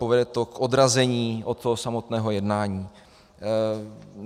Povede to k odrazení od toho samotného jednání.